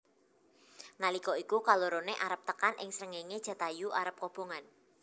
Nalika iku kaloroné arep tekan ing srengéngé Jatayu arep kobongan